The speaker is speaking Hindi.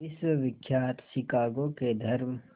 विश्वविख्यात शिकागो के धर्म